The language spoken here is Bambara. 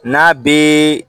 N'a bɛ